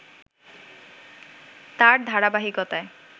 তার ধারাবাহিকতায়